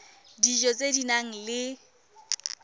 dijo tse di nang le